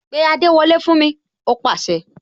Pé adewole fún mi!, ó pase